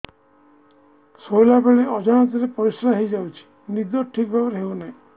ଶୋଇଲା ବେଳେ ଅଜାଣତରେ ପରିସ୍ରା ହୋଇଯାଉଛି ନିଦ ଠିକ ଭାବରେ ହେଉ ନାହିଁ